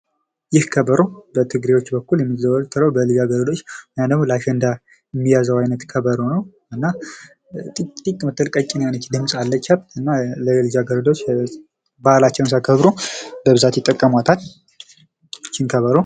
ይህ ከበሮ በትግራዮች በኩል የሚዘወተረው በልጃ ገረዶች ወይም ደግሞ ለአሸንዳ የሚያዘው አይነት ከበሮ ነው ።እና ጢቅ ጢቅ ምትል ቀጭን የሆነች ድምፅ አለቻት እና ልጃ ገረዶች ባህላቸውን ሲያከብሩ በብዛት ይጠቀሟታል። እችን ከበሮ።